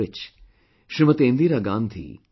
Indira Gandhi left this world